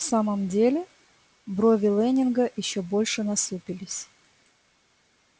в самом деле брови лэннинга ещё больше насупились